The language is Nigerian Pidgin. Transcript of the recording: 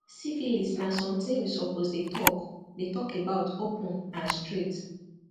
syphilis na something we suppose dey talk dey talk about open and straight